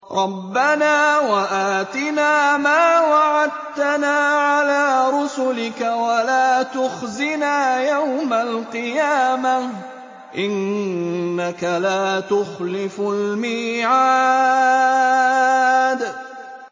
رَبَّنَا وَآتِنَا مَا وَعَدتَّنَا عَلَىٰ رُسُلِكَ وَلَا تُخْزِنَا يَوْمَ الْقِيَامَةِ ۗ إِنَّكَ لَا تُخْلِفُ الْمِيعَادَ